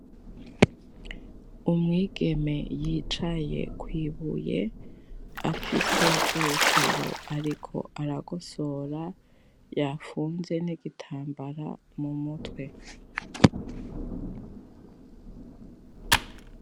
Umwigeme yicaye kwibuye, afise urutaro ariko arakosora yafunze n'igitambara mumutwe.